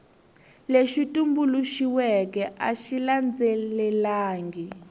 lexi tumbuluxiweke a xi landzelelangi